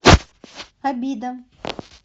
обида